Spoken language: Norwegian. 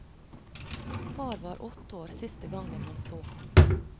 Far var åtte år siste gangen han så ham.